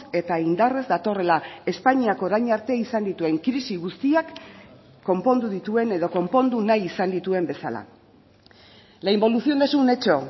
eta indarrez datorrela espainiak orain arte izan dituen krisi guztiak konpondu dituen edo konpondu nahi izan dituen bezala la involución es un hecho